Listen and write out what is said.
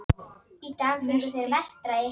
Þau voru aftur orðin fjörleg og vakandi.